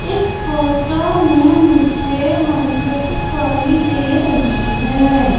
इस फोटो में मुझे मंदिर दिखाई दे रही हैं।